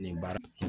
Nin baara